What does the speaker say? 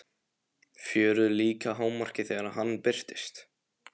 Fjörið líka í hámarki þegar hann birtist.